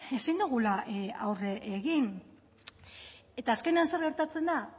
ezin dugula aurre egin eta azkenean zer gertatzen da